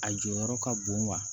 A jɔyɔrɔ ka bon wa